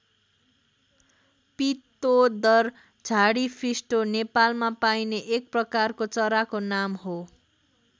पीतोदर झाडीफिस्टो नेपालमा पाइने एक प्रकारको चराको नाम हो।